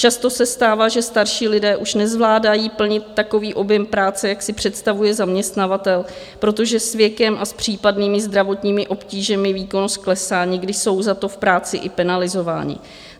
Často se stává, že starší lidé už nezvládají plnit takový objem práce, jak si představuje zaměstnavatel, protože s věkem a s případnými zdravotními obtížemi výkonnost klesá, někdy jsou za to v práci i penalizováni.